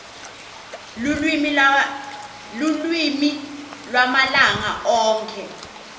lulwimi lwamalanga onkhe